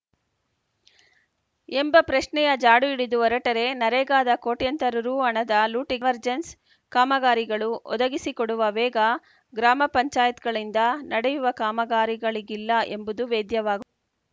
ಎಂಬ ಪ್ರಶ್ನೆಯ ಜಾಡು ಹಿಡಿದು ಹೊರಟರೇ ನರೇಗಾದ ಕೋಟ್ಯಂತರ ರುಹಣದ ಲೂಟಿಗೆ ಕನ್ವರ್ಜೆನ್ಸ್‌ ಕಾಮಗಾರಿಗಳು ಒದಗಿಸಿ ಕೊಡುವ ವೇಗ ಗ್ರಾಮ ಪಂಚಾಯತ್ ಗಳಿಂದ ನಡೆಯುವ ಕಾಮಗಾರಿಗಳಿಗಿಲ್ಲ ಎಂಬುದು ವೇದ್ಯವಾಗ್